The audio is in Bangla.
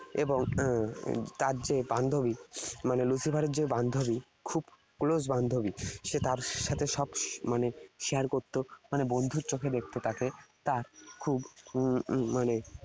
এবং এর তার যে বান্ধবী, মানে Lucifer এর যে বান্ধবী, খুব close বান্ধবী, সে তার সাথে সব মানে share করত। মানে বন্ধুর চোখে দেখত তাকে। তার খুব উম উহ মানে